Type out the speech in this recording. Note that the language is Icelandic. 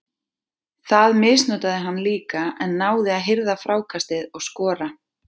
Það misnotaði hann líka en náði að hirða frákastið og skora.